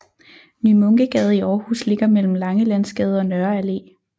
Ny Munkegade i Aarhus ligger mellem Langelandsgade og Nørre Allé